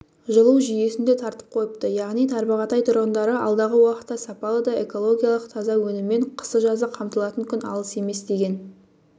жылу жүйесін де тартып қойыпты яғни тарбағатай тұрғындары алдағы уақытта сапалы да экологиялық таза өніммен қысы-жазы қамтылатын күн алыс емес деген